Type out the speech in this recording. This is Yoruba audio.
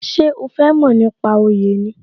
Ṣé o fẹ mo nípa oyè ni?